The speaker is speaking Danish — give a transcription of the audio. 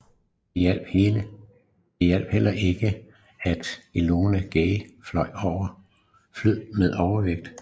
Det hjalp heller ikke at Enola Gay fløj med overvægt